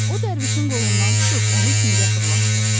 O Dərvişin qolundan tutub onu küncə fırlatdı.